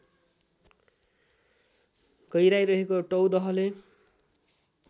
गहिराई रहेको टौदहले